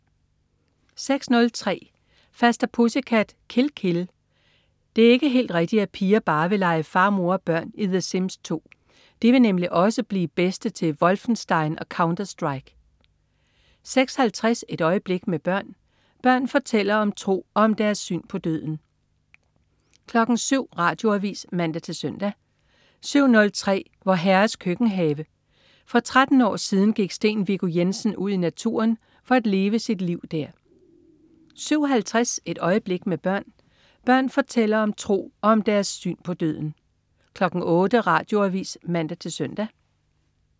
06.03 Faster, Pussycat. Kill! Kill! Det er ikke helt rigtigt, at piger bare vil lege far, mor og børn i "The Sims 2". De vil nemlig også blive de bedste til "Wolfenstein" og "Counter Strike" 06.50 Et øjeblik med børn. Børn fortæller om tro og om deres syn på døden 07.00 Radioavis (man-søn) 07.03 Vor Herres Køkkenhave. For 13 år siden gik Steen Viggo Jensen ud i naturen for at leve sit liv der 07.50 Et øjeblik med børn. Børn fortæller om tro og om deres syn på døden 08.00 Radioavis (man-søn)